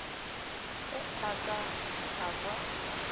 ga a ka a kwa